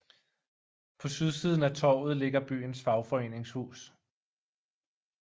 På sydsiden af torvet ligger byens fagforeningshus